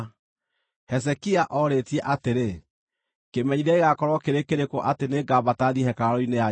Hezekia oorĩtie atĩrĩ, “Kĩmenyithia gĩgaakorwo kĩrĩ kĩrĩkũ atĩ nĩngambata thiĩ hekarũ-inĩ ya Jehova?”